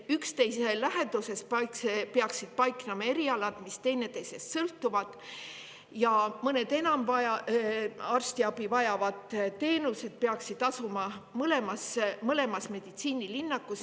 Üksteise läheduses peaksid paiknema erialad, mis teineteisest sõltuvad, ja mõned arstiabiteenused, mida enim vajatakse, peaksid asuma mõlemas meditsiinilinnakus.